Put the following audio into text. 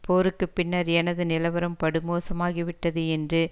போருக்கு பின்னர் எனது நிலவரம் படுமோசமாகிவிட்டது என்று